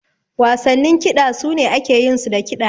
Wasannin kiɗa su ne ake yin su da kiɗa.